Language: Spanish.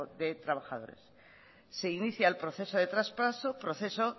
de trabajadores se inicia el proceso de traspaso proceso